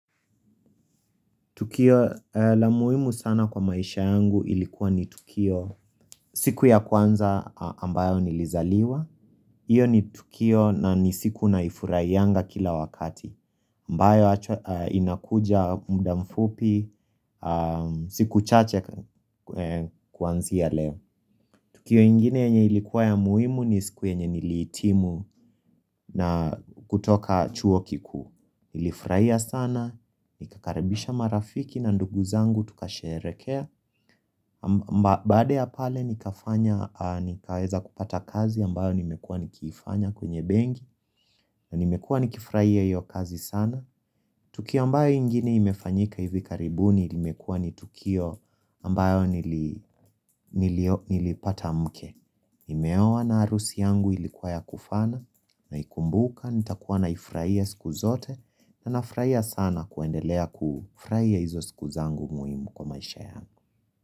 Tukio la muhimu sana kwa maisha yangu ilikuwa ni tukio siku ya kwanza ambayo nilizaliwa. Iyo ni tukio na nisiku na ifurai yanga kila wakati. Ambayo inakuja muda mfupi, siku chache kuanzia leo. Tukio ingine yenye ilikuwa ya muhimu ni siku yenye nilitimu na kutoka chuo kikuu. Nilifurahia sana, nikakaribisha marafiki na ndugu zangu tukasherekea mba bade ya pale nikafanya, nikaweza kupata kazi ambayo nimekua nikifanya kwenye bengi Ninimekua nikifraia iyo kazi sana Tuki ambayo ingine imefanyika hivi karibuni, limekua nitukio ambayo nilipata mke Nimeowa na harusi yangu ilikuwa ya kufana na ikumbuka, nitakuwa naifraia siku zote na nafurahia sana kuendelea kufurahia hizo siku zangu muhimu kwa maisha yangu.